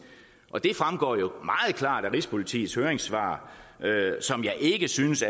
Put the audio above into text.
og det fremgår jo meget klart af rigspolitiets høringssvar som jeg ikke synes